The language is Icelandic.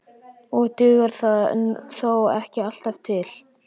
Og dugar það þó ekki alltaf til.